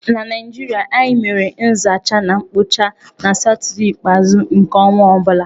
Na Naịjirịa, anyị mere nzacha na mkpocha na satọdee ikpeazụ nke ọnwa ọ bula.